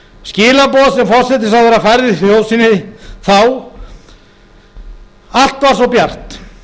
skilaboð sem forsætisráðherra færði þjóð sinni þá allt var svo bjart